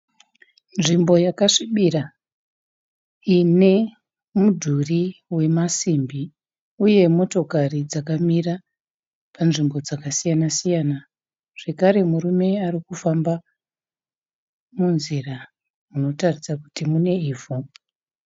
Nzvimbo yakasvibira ine mudhuri wemasimbi uye motokari dzakamira panzvimbo dzakasiyana siyana. Zvekare murume arikufamba munzira inotaridza kuti mune ivhu.